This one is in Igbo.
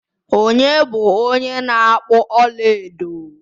Onye bu onye na akpu ọlaedo?